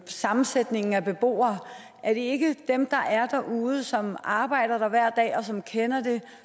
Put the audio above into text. sammensætningen af beboere er det ikke dem der er derude som arbejder der hver dag og som kender det